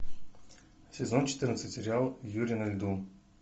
сезон четырнадцать сериал юри на льду